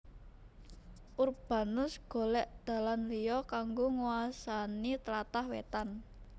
Urbanus golek dalan liya kanggo nguwasani tlatah wetan